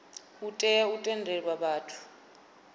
u tea u tendela vhathu